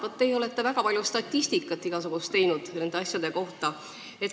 Te olete väga palju statistikat nende asjade kohta teinud.